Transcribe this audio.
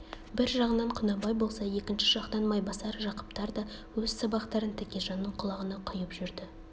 бір жағынан құнанбай болса екінші жақтан майбасар жақыптар да өз сабақтарын тәкежанның құлағына құйып жүрді